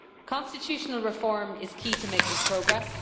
Constitutional reform is key to making progress.